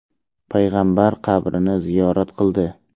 payg‘ambar qabrini ziyorat qildi.